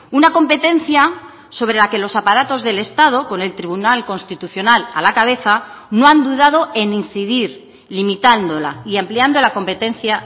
una competencia sobre la que los aparatos del estado con el tribunal constitucional a la cabeza no han dudado en incidir limitándola y ampliando la competencia